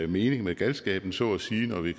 mening med galskaben så at sige når vi